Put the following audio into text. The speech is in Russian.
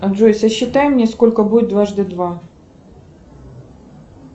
джой сосчитай мне сколько будет дважды два